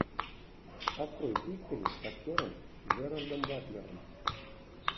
открой пиксели с актером джерардом батлером